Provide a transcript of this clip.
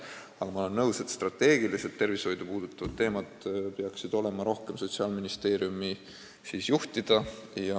Aga ma olen nõus, et strateegiliselt tervishoidu puudutavad teemad peaksid olema rohkem Sotsiaalministeeriumi juhtida.